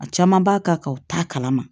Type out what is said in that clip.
A caman b'a ka u t'a kalama